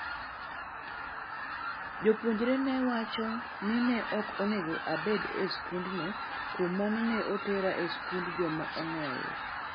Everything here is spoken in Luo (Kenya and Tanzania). Jopuonje neowacho ni ok onego abed e skendno kuom mano ne otera e sikund joma ong'ol.